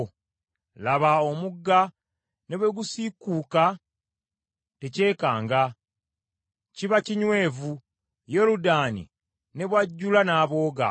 Laba omugga ne bwe gusiikuuka tekyekanga; kiba kinywevu, Yoludaani ne bwajjula n’abooga.